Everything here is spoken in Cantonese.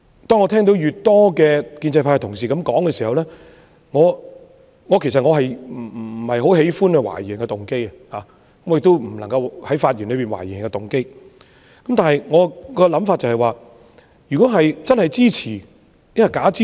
當我聽到越來越多建制派同事這樣說時——我不喜歡懷疑別人的動機，我亦不應該在發言裏面懷疑別人的動機——但我的想法是，如果是支持，是否真的支持？